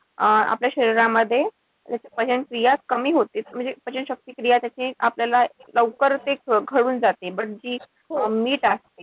अं आपल्या शरीरामध्ये पचनक्रिया कमी होते. म्हणजे पचनशक्ती क्रिया त्याची आपल्याला लवकर ते जाते. पण जे meat असत,